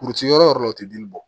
Kuruti yɔrɔ la o tɛ dili bɔ